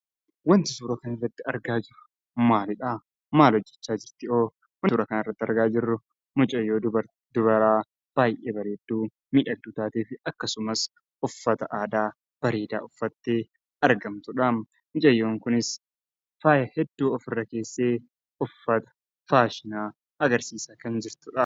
Wanti suura kana irratti argaa jirru maalidha? Maal hojjechaa jirti? Suuraa kana irratti kan argaa jirru mucayyoo dubaraa baay'ee bareeddufi mii akkasumas, uffata aadaa bareedaa uffatte argamtudha. Mucayyoon kunis faaya hedduu ofirra keessee, uffata faashinaa agarsiisaa kan jirtudha.